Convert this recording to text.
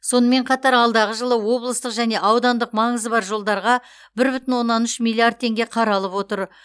сонымен қатар алдағы жылы облыстық және аудандық маңызы бар жолдарға бір бүтін оннан үш миллиард теңге қаралып отыр